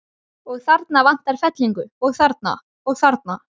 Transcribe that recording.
Og þarna vantar fellingu, og þarna. og þarna.